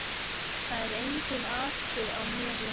Það er enginn asi á mér lengur.